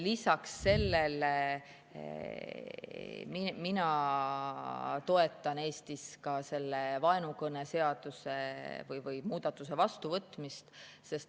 Lisaks sellele toetan mina Eestis ka vaenukõneseaduse või selle muudatuse vastuvõtmist.